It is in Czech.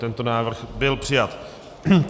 Tento návrh byl přijat.